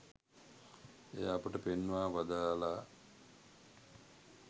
එය අපට පෙන්වා වදාළා